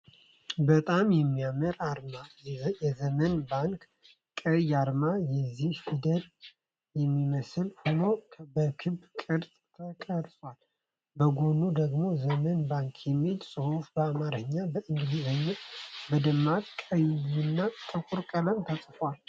በጣም የሚያምር አርማ! የዘመን ባንክ ቀይ አርማ የ"ዚ" ፊደልን የሚመስል ሆኖ በክብ ቅርጽ ተቀርጿል። ከጎኑ ደግሞ "ዘመን ባንክ" የሚል ጽሑፍ በአማርኛና በእንግሊዝኛ በደማቅ ቀይና ጥቁር ቀለም ተጽፏል።